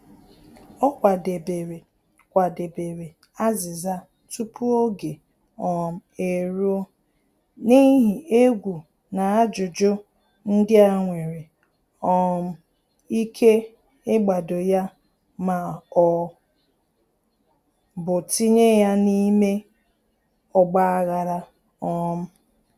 Ọ kwadebere kwadebere azịza tupu oge um eruo, n’ihi egwu na ajụjụ ndị a nwere um ike ịgbado ya ma ọ bụ tinye ya na-ime ọgba-aghara um